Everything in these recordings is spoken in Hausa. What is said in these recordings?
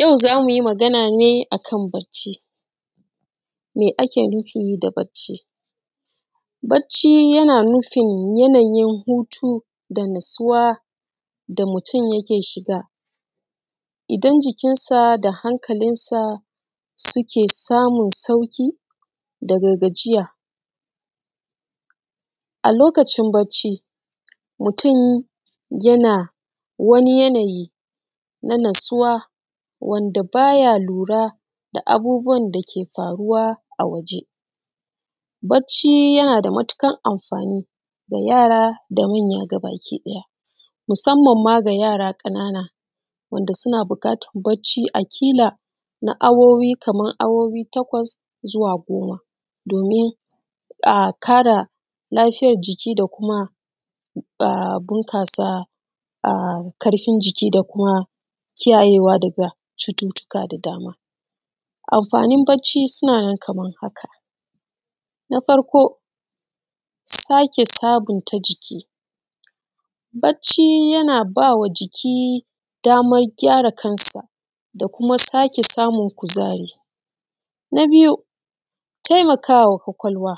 Yau zamu yi magana ne akan barci. Me ake nufi da barci? Barci yana nufin yanayin hutu da natsuwa da mutum yike shiga, idan jikinsa da hankalinsa suke samun sauƙi daga gajiya. A lokacin barci, mutum yana wani yana yi na natsuwa wanda baya lura da abubuwan dake faruwa a waje. Barci yana da matuƙar amfani, ga yara da manya da manya gabaki ɗaya, musamman ma ga yara ƙanana, wanda suna buƙatan barci a kala na awoyi, kaman awoyi takwas zuwa goma domin a ƙara lafiyar jiki da kuma a bunƙasa da a ƙarfin jiki da kuma kiyayyewa daga cututuka da dama. Amfanin barci suna nan kaman haka: Na farko sake sabunta jiki, barci yana bawa jiki daman gyara kansa da kuma sake samun kuzari. Na biyu, taimakawa ƙwaƙwalwa,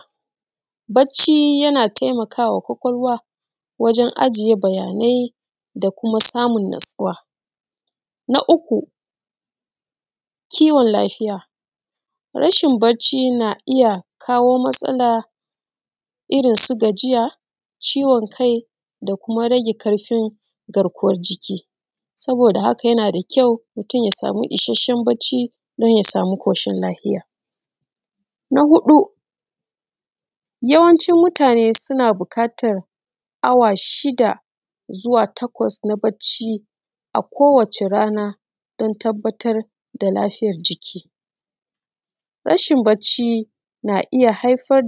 barci yana taimakawa ƙwaƙwalwa wajen ajiye bayanai da kuma samun natsuwa. Na uku, kiwon lafiya, rashin barci na iya kawo matsala, irin su gajiya, ciwon kai da kuma rage ƙarfin garkuwan jiki, saboda haka yana da kyau mutum ya samu isashen barci don ya samu ƙoshin lafiya. Na huɗu, yawanci mutane suna buƙatan awa shida zuwa takwas na barci a kowace rana don tabbatar da lafiyar jiki. Rashin barci na iya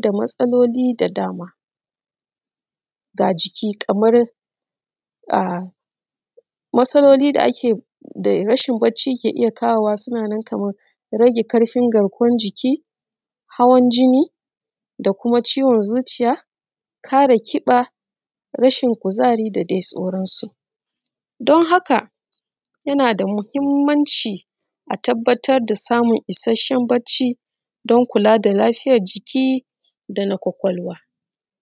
da matsaloli da dama, ga jiki kamar a matsaloli da ake da rashin barci ke kawowa, kamar rage ƙarfin vgarkuwan jiki, hawan jini da kuma ciwon zuciya, ƙare ƙiba, rashin kuzari da dai sauransu. Don haka yana da muhimmanci a tabbatar da samun isashen barci, don kula da lafiyar jiki dana ƙwaƙwalwa..;